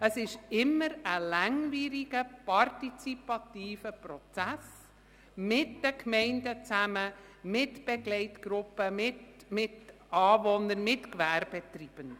Es ist immer ein langwieriger, partizipativer Prozess zusammen mit den Gemeinden, mit Begleitgruppen, mit Anwohnern und mit Gewerbetreibenden.